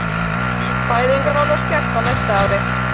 Fæðingarorlof skert á næsta ári